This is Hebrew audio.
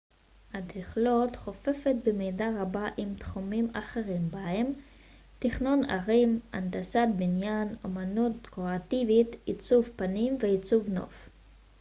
אדריכלות חופפת במידה רבה עם תחומים אחרים בהם תכנון ערים הנדסת בניין אומנות דקורטיבית עיצוב פנים ועיצוב נוף